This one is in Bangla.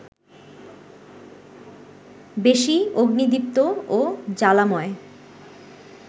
বেশি অগ্নিদীপ্ত ও জ্বালাময়